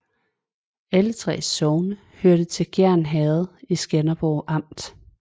Alle 3 sogne hørte til Gjern Herred i Skanderborg Amt